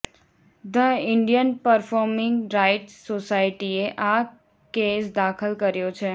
the Indian performing rights સોસાયટીએ આ case દાખલ કર્યો છે